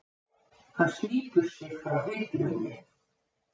Hann slítur sig frá hillunni.